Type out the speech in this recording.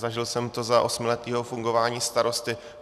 Zažil jsem to za osmiletého fungování starosty.